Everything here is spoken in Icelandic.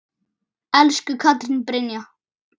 Elsku Katrín Brynja.